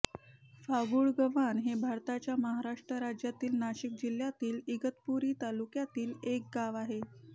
फांगुळगव्हाण हे भारताच्या महाराष्ट्र राज्यातील नाशिक जिल्ह्यातील इगतपुरी तालुक्यातील एक गाव आहे